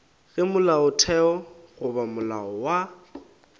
ge molaotheo goba molao wa